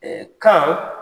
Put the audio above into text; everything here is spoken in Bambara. kan